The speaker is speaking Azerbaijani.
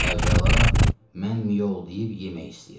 Əvvəla, mən miyoldayıb yemək istəyirəm.